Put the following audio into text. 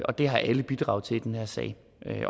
og det har alle bidrag til i den her sag